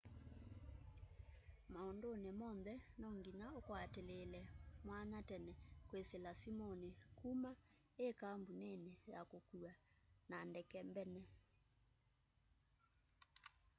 maunduni monthe no nginya ukwatilile mwanya tene kwisila simuni kuma i kambunini ya ukua na ndeke mbene